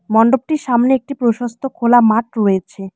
মন্ডপটির সামনে একটি প্রশস্ত খোলা মাঠ রয়েছে।